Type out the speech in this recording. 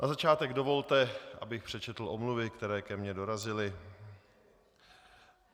Na začátek dovolte, abych přečetl omluvy, které ke mně dorazily.